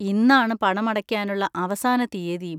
ഇന്നാണ് പണമടയ്ക്കാനുള്ള അവസാന തീയതിയും.